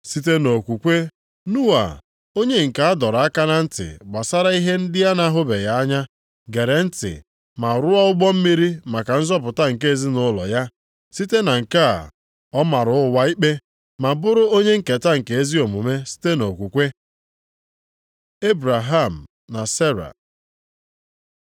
Site nʼokwukwe, Noa, onye nke a dọrọ aka na ntị gbasara ihe ndị a na-ahụbeghị anya, gere ntị ma ruo ụgbọ mmiri maka nzọpụta nke ezinaụlọ ya. Site na nke a, ọ mara ụwa ikpe, ma bụrụ onye nketa nke ezi omume sitere nʼokwukwe. Ebraham na Sera